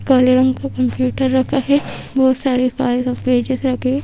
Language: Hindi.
काले रंग का कम्प्यूटर रखा है बहोत सारे फाइल्स और पेजेस रखे--